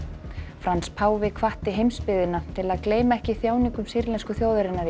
Frans páfi hvatti heimsbyggðina til að gleyma ekki þjáningum sýrlensku þjóðarinnar í